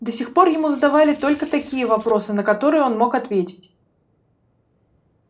до сих пор ему задавали только такие вопросы на которые он мог ответить